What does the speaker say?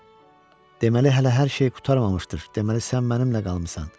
Deməli hələ hər şey qurtarmamışdır, deməli sən mənimlə qalmısan.